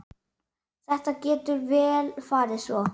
Það getur vel farið svo.